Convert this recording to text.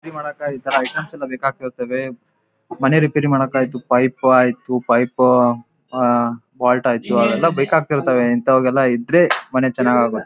ಇದು ಒಂತರ ವಾಹನಗಳ ಬಿಡಿ ಭಾಗಗಳು ಬಿದ್ದಾಗಿದೆ ಎಲ್ಲಾ ತರಹದ ವಾಹನಗಳ ಬಿಡಿ ಭಾಗಗಳು ರೆಡಿ ಮಾಡಿ ಒಂದು ಜಾಗದಲ್ಲಿ ಇಟ್ಟ ಹಾಗೆ ಕಾಣುತ್ತೆ ಪ್ರತಿವಂತರದ್ದು ಇದೆ ಬೇರೆ ಬೇರೆ ಡಿಸೈನಲ್ಲಿ ದಾವೆ.